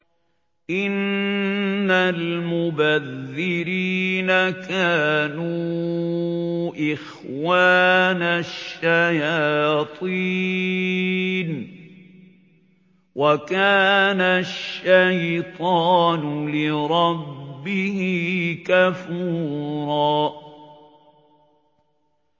إِنَّ الْمُبَذِّرِينَ كَانُوا إِخْوَانَ الشَّيَاطِينِ ۖ وَكَانَ الشَّيْطَانُ لِرَبِّهِ كَفُورًا